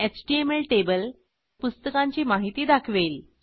HTML table पुस्तकांची माहिती दाखवेल